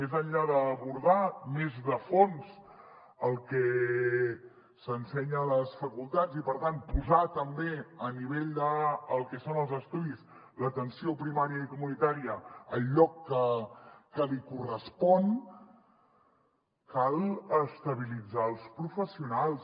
més enllà d’abordar més de fons el que s’ensenya a les facultats i per tant posar també a nivell del que són els estudis l’atenció primària i comunitària al lloc que li correspon cal estabilitzar els professionals